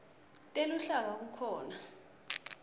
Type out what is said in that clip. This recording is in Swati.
teluhlaka kukhona